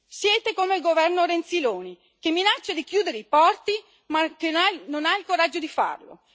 Siete come il governo Renziloni, che minaccia di chiudere i porti ma non ha il coraggio di farlo.